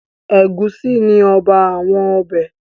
Ẹ̀gúsí ni ọba àwọn ọbẹ̀.